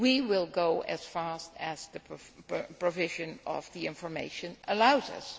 We will go as fast as the provision of information allows us.